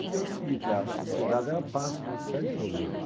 Porque é o seguinte, a sociedade ela passa por uma série de problemas.